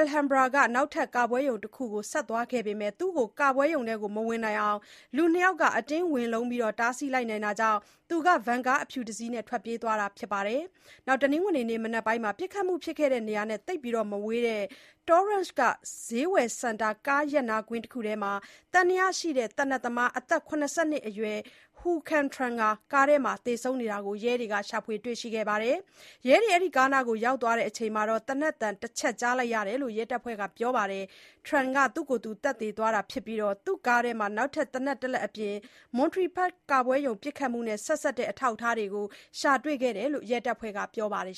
Alhambra က နောက်ထပ်ကပွဲရုံတခုကို ဆက်သွားခဲ့ပေမယ့် သူ့ကို ကပွဲရုံထဲမဝင်နိုင်အောင် လူ ၂ ယောက်က အတင်းဝင်လုံးပြီး တားဆီးနိုင်လိုက်တာကြောင့် သူက ဗင်ကားအဖြူတစီးနဲ့ ထွက်ပြေးသွားခဲ့တာပါ။ တနင်္ဂနွေနေ့၊ မနက်ပိုင်းမှာ ပစ်ခတ်မှုဖြစ်ခဲ့တဲ့ နေရာနဲ့သိပ်မဝေးတဲ့ Torrance က ဈေးဝယ်စင်တာ ကားရပ်နားကွင်းတခုထဲ သံသယရှိ သေနတ်သမား အသက် ၇၂ နှစ်အရွယ် Huu Can Tran ဟာ ကားထဲမှာ သေဆုံးနေတာကို ရဲကတွေ့ခဲ့ပါတယ်။ ရဲတွေကားနားကို ရောက်တဲ့အချိန် သေနတ်သံတချက်ကြားလိုက်ရတယ်လို့ ရဲတပ်ဖွဲ့က ပြောပါတယ်။ Tran က သူ့ကိုယ်သူ သတ်သေသွားတာဖြစ်ပြီးတော့၊ သူ့ကားထဲမှာ နောက်ထပ်သေနတ်တလက်အပြင်၊ Monterey Park က ပွဲရုံပစ်ခတ်မှုနဲ့ ဆက်စပ်တဲ့ အထောက်အထားတွေကို ရှာတွေ့ခဲ့တယ်လို့ ရဲတပ်ဖွဲ့က ပြောပါတယ်